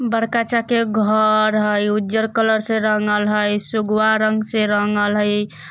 बरका चाके घर हय उज्जर कलर से रंगल हय सुगवा रंग से रंगल हय।